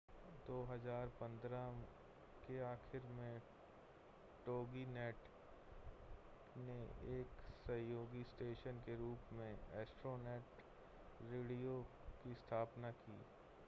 2015 के आखिर में toginet ने एक सहयोगी स्टेशन के रूप में astronet रेडियो की स्थापना की